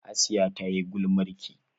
Hasiya ta yi gulmarki.